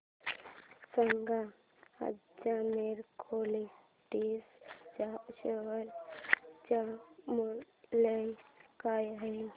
सांगा आज Marico limited च्या शेअर चे मूल्य काय आहे